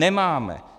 Nemáme!